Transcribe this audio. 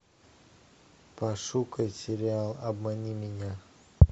пошукай сериал обмани меня